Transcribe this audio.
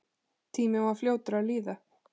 Tíminn var fljótur að líða.